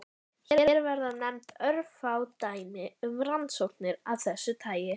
Hér verða nefnd örfá dæmi um rannsóknir af þessu tagi.